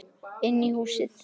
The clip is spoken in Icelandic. Inn í húsið?